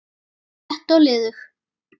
létt og liðug